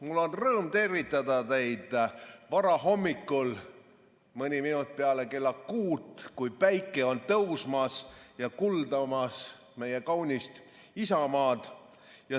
Mul on rõõm tervitada teid varahommikul, mõni minut peale kella kuut, kui päike on tõusmas ja kuldamas meie kaunist isamaad.